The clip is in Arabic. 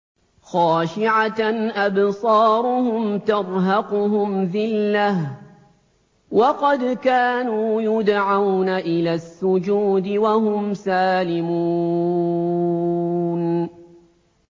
خَاشِعَةً أَبْصَارُهُمْ تَرْهَقُهُمْ ذِلَّةٌ ۖ وَقَدْ كَانُوا يُدْعَوْنَ إِلَى السُّجُودِ وَهُمْ سَالِمُونَ